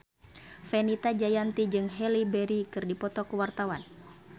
Fenita Jayanti jeung Halle Berry keur dipoto ku wartawan